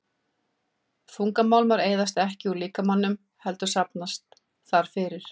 Þungmálmar eyðast ekki úr líkamanum heldur safnast þar fyrir.